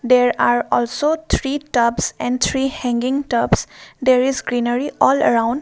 there are also three tubs and three hanging tubs there is greenery all around